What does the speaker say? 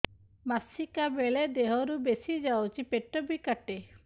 ମାସିକା ବେଳେ ଦିହରୁ ବେଶି ଯାଉଛି ପେଟ ବି କାଟେ